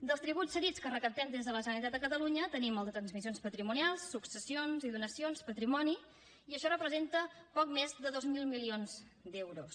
dels tributs cedits que recaptem des de la generalitat de catalunya tenim el de transmissions patrimonials successions i donacions patrimoni i això representa poc més de dos mil milions d’euros